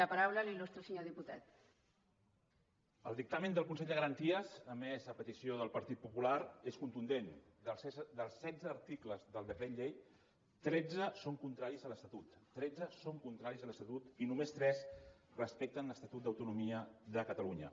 el dictamen del consell de garanties emès a petició del partit popular és contundent dels setze articles del decret llei tretze són contraris a l’estatut tretze són contraris a l’estatut i només tres respecten l’estatut d’autonomia de catalunya